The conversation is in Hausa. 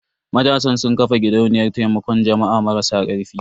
Matasan sun ƙafa gidauniyar taimakon jama'a marasa karfi.